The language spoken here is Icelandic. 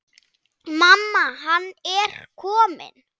Mamma, hann er kominn!